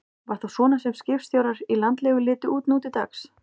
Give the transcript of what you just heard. Var það svona sem skipstjórar í landlegu litu út nú til dags?